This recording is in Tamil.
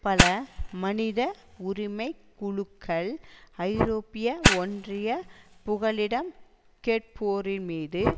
பல மனித உரிமை குழுக்கள் ஐரோப்பிய ஒன்றிய புகலிடம் கேட்போர் மீது